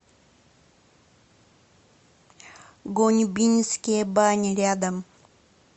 гоньбинские бани рядом